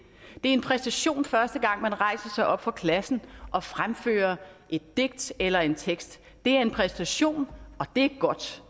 er en præstation første gang man rejser sig op for klassen og fremfører et digt eller en tekst det er en præstation og det er godt